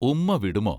ഉമ്മാ വിടുമോ?